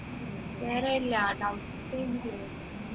വേറെ ഇല്ല